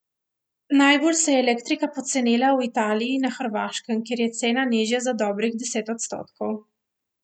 Najbolj se je elektrika pocenila v Italiji in na Hrvaškem, kjer je cena nižja za dobrih deset odstotkov.